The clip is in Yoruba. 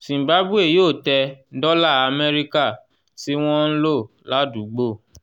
zimbabwe yóò tẹ 'dola amẹ́ríkà' tí wọ́n ń lò ládùúgbò